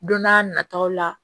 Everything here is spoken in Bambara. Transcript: Don n'a nataw la